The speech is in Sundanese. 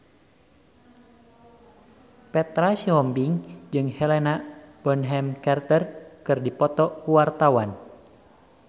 Petra Sihombing jeung Helena Bonham Carter keur dipoto ku wartawan